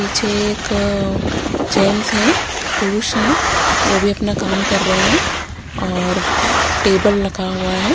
पीछे एक अअअ जेंट्स हैं पुरुष हैं वो भी अपना काम कर रहे हैं और टेबल लगा हुआ है।